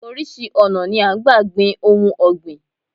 Orísìí ọ̀nà ni à ń gbà gbin ohun ọ̀gbìn